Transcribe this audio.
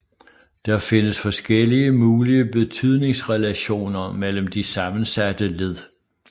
Der findes forskellige mulige betydningsrelationer mellem de sammensatte led